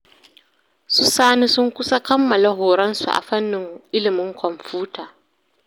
Su Sani sun kusa kammala horonsu a fannin ilimin kwamfuta